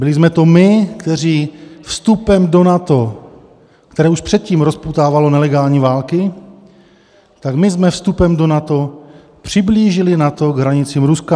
Byli jsme to my, kteří vstupem do NATO, které už předtím rozpoutávalo nelegální války, tak my jsme vstupem do NATO přiblížili NATO k hranicím Ruska.